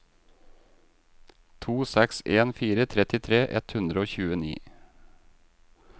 to seks en fire trettitre ett hundre og tjueni